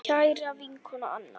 Kæra vinkona Anna.